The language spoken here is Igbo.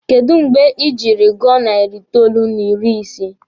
Kedụ mgbe ị jiri gụọ nari itoolu n'ịrị ise?